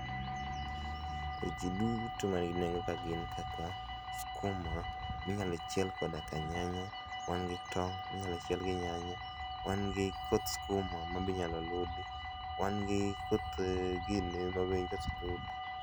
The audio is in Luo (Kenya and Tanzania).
Weche duto man gi nengo ka gin kaka, skuma minyalo chiel koda ka nyanya, wan gi tong' minyalo chiel gi nyanya. Wan gi koth skuma mabe inyalo ludi, wan gi koth gine mabe